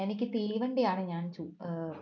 എനിക്ക് തീവണ്ടിയാണ് ഞാൻ ചൂ ഏർ